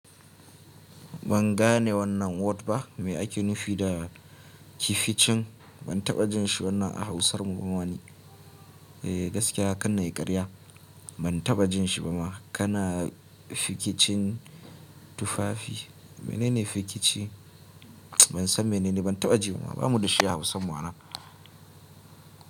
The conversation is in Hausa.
Ban gane wannan word ba me ake nufi da kificin ban taɓa jin shi wannan a Hausar mu bama ni. Eh gaskiya karna yi karya ban taɓa jin shi ba ma kana fikicin tufafi. Menene fikici? Ban san menene ban taɓa ji ba. Ba mu da shi a Hausan mu anan.